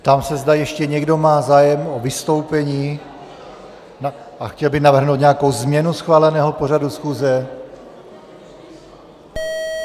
Ptám se, zda ještě někdo má zájem o vystoupení a chtěl by navrhnout nějakou změnu schváleného pořadu schůze.